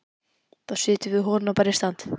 Þá setjum við holuna bara í stand!